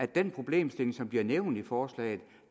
den problemstilling som bliver nævnt i forslaget